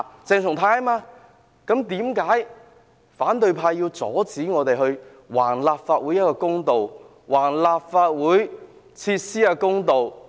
為何反對派要阻止我們為立法會討回公道、為立法會設施討回公道？